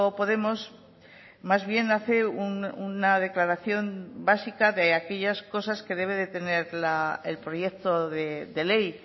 podemos más bien hace una declaración básica de aquellas cosas que debe de tener el proyecto de ley